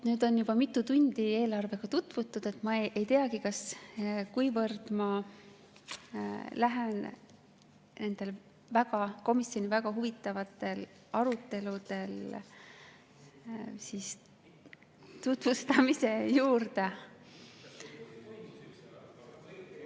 Nüüd on juba mitu tundi eelarvega tutvutud, ma ei teagi, kui põhjalikult ma lähen nende komisjoni väga huvitavate arutelude tutvustamise juurde.